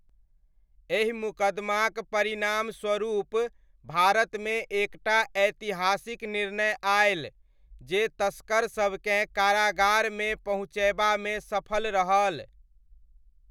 एहि मुकदमाक परिणामस्वरूप भारतमे एक टा ऐतिहासिक निर्णय आयल, जे तस्करसबकेँ कारागारमे पहुँचयबामे सफल रहल।